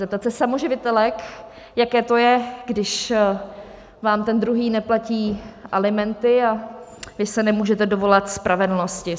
Zeptat se samoživitelek, jaké to je, když vám ten druhý neplatí alimenty a vy se nemůžete dovolat spravedlnosti.